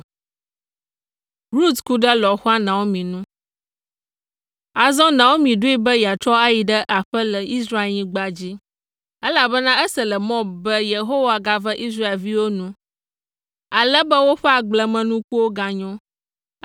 Azɔ Naomi ɖoe be yeatrɔ ayi ɖe aƒe le Israelnyigba dzi, elabena ese le Moab be Yehowa gave Israelviwo nu, ale be woƒe agblemenukuwo ganyo.